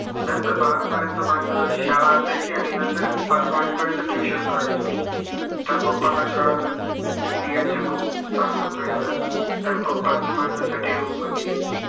नंतर बारा पर्यन्त माझा शाळा असायची आणि नंतर मी पाच वाजे पर्यन्त tuition करायचो. तर papa ला कळलं की ह्याचे खूप त्रास होतोय याला. तर papa ने माझ्या साठी room बघितली.